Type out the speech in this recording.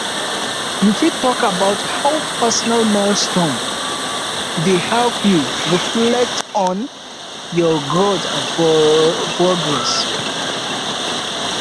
you fit talk about how personal milestones um dey help you reflect on um your growth and progress